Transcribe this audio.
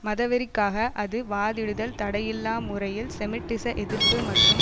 மத வெறிக்காக அது வாதிடுதல் தடையில்லா முறையில் செமிட்டிச எதிர்ப்பு மற்றும்